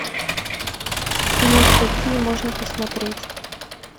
нет какие можно посмотреть